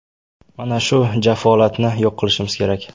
Mana shu jafolatni yo‘q qilishimiz kerak.